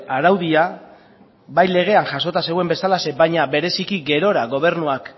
araudia bai legean jasotan zegoen bezalaxe baina bereziki gerora gobernuak